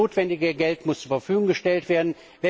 Und das notwendige Geld muss zur Verfügung gestellt werden.